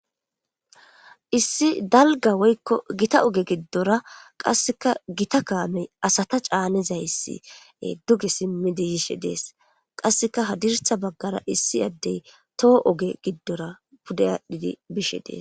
Issi dalga woyikko giitta oge gidora qasekka giitta kammey asata canizayss duge simmidi yishshe des qasekka hadrssa bagara issi adey too oge gidora pude adhid bishshe des